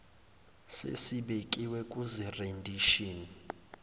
sesibekiwe kuzi rendition